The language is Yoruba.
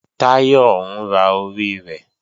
Táyọ̀ ń ra orí rẹ̀